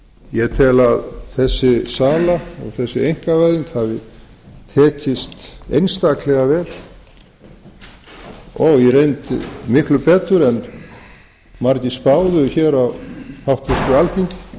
ég tel að þessi sala og þessi einkavæðing hafi tekist einstaklega vel og í reynd miklu betur en margir spáðu á háttvirtu alþingi